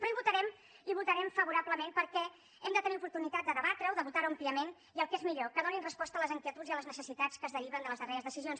però hi votarem favorablement perquè hem de tenir oportunitat de debatre ho de votar ho àmpliament i el que és millor que donin resposta a les inquietuds i a les necessitats que es deriven de les darreres decisions